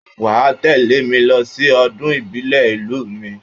Wà á tẹ́lẹ̀ mi lọ sí ọdún ìbílẹ̀ ìlú mi.